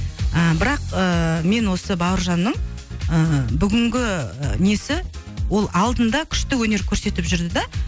ы бірақ ыыы мен осы бауыржанның ыыы бүгінгі несі ол алдында күшті өнер көрсетіп жүрді де